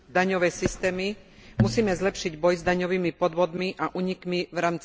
Musíme zlepšiť boj s daňovými podvodmi a únikmi v rámci celej Európskej únie.